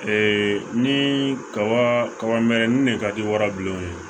Ee ni kaba kaba mɛrɛnin de ka di wara bilen o ye